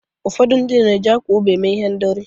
ụfọdụ ndị na-eji akwa ubi eme ihendori